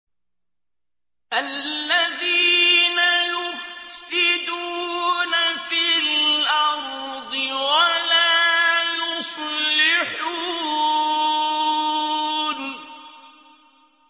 الَّذِينَ يُفْسِدُونَ فِي الْأَرْضِ وَلَا يُصْلِحُونَ